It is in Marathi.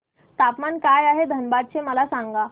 तापमान काय आहे धनबाद चे मला सांगा